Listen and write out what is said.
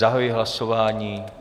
Zahajuji hlasování.